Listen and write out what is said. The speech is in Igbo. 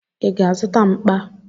Ị ga-azụta mkpa?